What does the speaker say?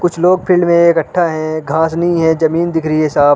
कुछ लोग फील्ड मे इकठ्ठा हैं घास नहीं है जमीन दिख रही है साफ।